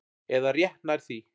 Eða rétt nær því.